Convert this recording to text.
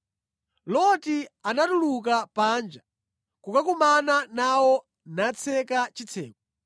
Loti anatuluka panja kukakumana nawo natseka chitseko